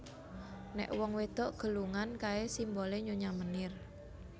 Nek wong wedok gelungan kae simbole Nyonya Menir